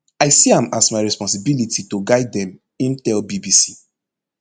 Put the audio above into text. i see am as my responsibility to guide dem im tell bbc